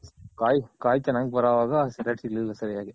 ಕಾಯ್ ಕಾಯ್ ಚೆನ್ನಾಗ್ ಬರೋವಾಗ ಸಿಗ್ಲಿಲ್ಲ ಸರಿಯಾಗಿ.